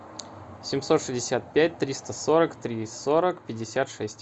семьсот шестьдесят пять триста сорок три сорок пятьдесят шесть